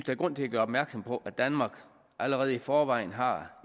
er grund til at gøre opmærksom på at danmark allerede i forvejen har